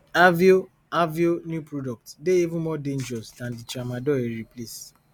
aveo aveo new product dey even more dangerous dan di tramadol e replace